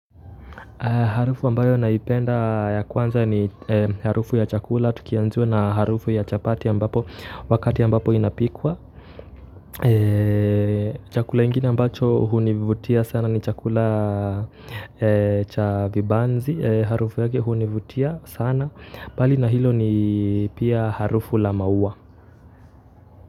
Harufu ambayo naipenda ya kwanza ni harufu ya chakula. Tukianziwa na harufu ya chapati ambapo wakati ambapo inapikwa. Chakula ingine ambacho hunivutia sana ni chakula cha vibanzi. Harufu yake hunivutia sana. Mbali na hilo ni pia harufu la maua.